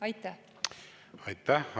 Aitäh!